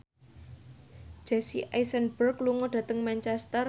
Jesse Eisenberg lunga dhateng Manchester